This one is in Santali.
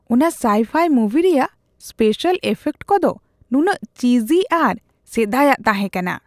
ᱚᱱᱟ ᱥᱟᱭᱼᱯᱷᱟᱭ ᱢᱩᱵᱷᱤ ᱨᱮᱭᱟᱜ ᱥᱯᱮᱥᱟᱞ ᱤᱯᱷᱮᱠᱴ ᱠᱚᱫᱚ ᱱᱩᱱᱟᱹᱜ ᱪᱤᱡᱤ ᱟᱨ ᱥᱮᱫᱟᱭᱟᱜ ᱛᱟᱦᱮᱸ ᱠᱟᱱᱟ ᱾